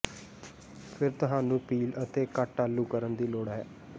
ਫਿਰ ਤੁਹਾਨੂੰ ਪੀਲ ਅਤੇ ਕੱਟ ਆਲੂ ਕਰਨ ਦੀ ਲੋੜ ਹੈ